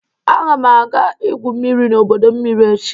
Aga m aga igwu mmiri n'ọdọ mmiri echi.